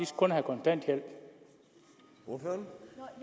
skal have kontanthjælp når